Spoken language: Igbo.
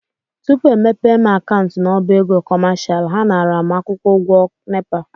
Tupu e mepee m akaụntụ n'ọbá ego kọmashal, ha nara m akwụkwọ ụgwọ NEPA.